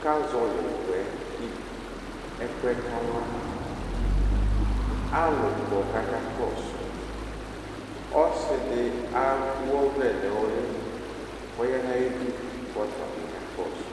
cka zɔlɩ ʋkʋɛ kɩ ɛkʋɛ kalaAlʋ kɔ kaka kɔsʋ, ɔsɩ dɩ ewuɔvlɛ nʋlɩ kɔya nayidu kɔta bɩ kakɔsʋ